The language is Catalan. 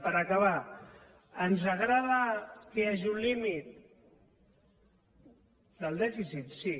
per acabar ens agrada que hi hagi un límit del dèficit sí